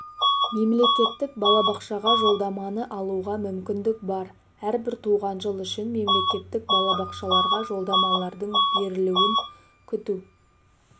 мемлекеттік балабақшаға жолдаманы алуға мүмкіндік бар әрбір туған жыл үшін мемлекеттік балабақшаларға жолдамалардың берілуін күту